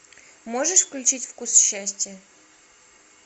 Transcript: можешь включить вкус счастья